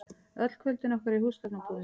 Öll kvöldin okkar í húsgagnabúðinni.